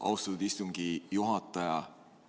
Austatud istungi juhataja!